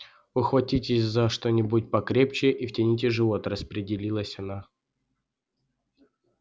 ухватитесь за что-нибудь покрепче и втяните живот распорядилась она